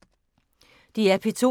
DR P2